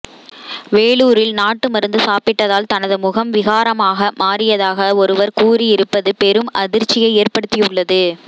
வேலூரில் நாட்டு மருந்து சாப்பிட்டதால் தனது முகம் விகாரமாக மாறியதாக ஒருவர் கூறியிருப்பது பெரும் அதிர்ச்சியை ஏற்படுத்தியுள்ளது